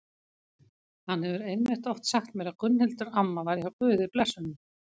Hann hefur einmitt oft sagt mér að Gunnhildur amma væri hjá Guði blessunin.